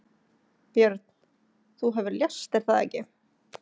Björn: Þú hefur lést er það ekki?